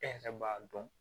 E yɛrɛ b'a dɔn